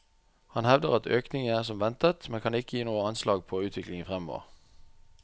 Han hevder at økningen er som ventet, men kan ikke gi noe anslag på utviklingen fremover.